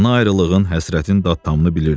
Ana ayrılığın, həsrətin dad-tamını bilirdi.